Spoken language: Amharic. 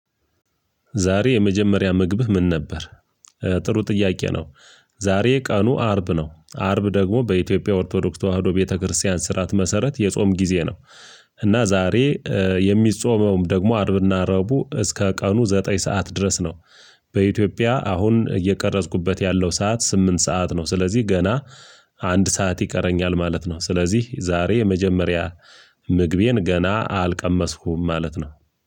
ዛሬ የመጀመሪያ ምግብህ ምን ነበር? ጥሩ ጥያቄ ነው። ዛሬ ቀኑ አርብ ነው አርብ ደግሞ በኢትዮጵያ ኦርቶዶክስ ተዋህዶ ቤተክርስቲያን ስርዓት መሰረት የጾም ጊዜ ነው። እና ዛሬ የሚጾመውም ደግሞ አርብና ረቡ እስከ ቀኑ ዘጠኝ ሰዓት ድረስ ነው። በኢትዮጵያ አሁን እየቀረጽኩበት ያለው ሰዓት ስምንት ሰዓት ነው ስለዚህ ገና አንድ ሰዓት ይቀረኛል ማለት ነው። ስለዚህ ዛሬ የመጀመሪያ ምግቤን ገና አልቀመስኩም ማለት ነው።